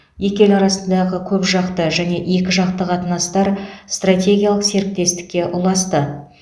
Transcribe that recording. екі ел арасындағы көпжақты және екіжақты қатынастар стратегиялық серіктестікке ұласты